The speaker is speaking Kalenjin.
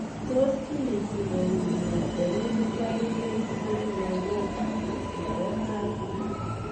Tos kiinti ko wuuy nee hereditary sensory neuropathy nebo IE.